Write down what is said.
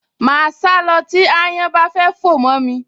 Màá sá lọ tí ááyán bá fẹ́ fò mọ́ mi